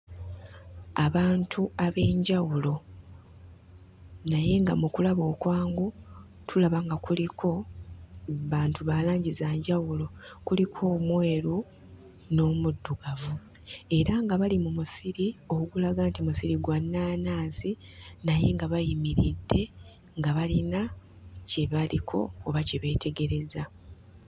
Abantu ab'enjawulo. Naye nga mu kulaba okwangu tulaba nga kuliko bantu ba langi za njawulo. Kuliko omweru, n'omuddugavu. Era nga bali mu musiri ogulaga nti musiri gwa nnaanansi naye nga bayimiridde nga balina kye baliko oba kye beetegereza.